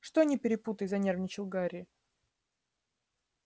что не перепутай занервничал гарри